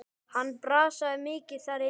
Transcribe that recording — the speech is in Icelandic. Hann brasaði mikið þar inni.